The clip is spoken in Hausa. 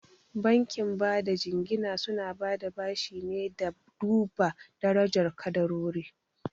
Bankin bada jingina suna bada bashi ne da duba darajar ƙadarori.